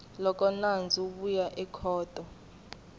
loko nandzu wu ya ekhoto